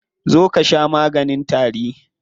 Zo ka sha maganin tari.